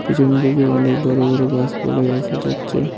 পিছন দিকে অনেক বড় বড় গাসপালা দেখা যাচ্চে।